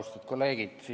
Austatud kolleegid!